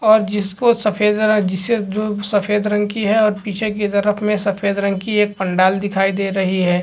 और जिसको सफेद रंग जिसे जो सफेदा रंग की है और पीछे की तरफ सफ़ेद रंग की पंडाल दिखाई दे रही है।